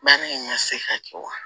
Baara in ka se ka kɛ wa